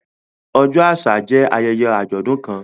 Ọjọ àṣà jẹ ayẹyẹ ajọdun kàn.